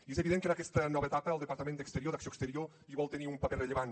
i és evident que en aquesta nova etapa el departament d’acció exterior hi vol tenir un paper rellevant